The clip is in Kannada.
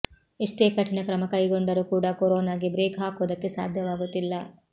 ಎಷ್ಟೇ ಕಠಿಣ ಕ್ರಮ ಕೈಗೊಂಡರೂ ಕೂಡ ಕೊರೊನಾಗೆ ಬ್ರೇಕ್ ಹಾಕೋದಕ್ಕೆ ಸಾಧ್ಯವಾಗುತ್ತಿಲ್ಲ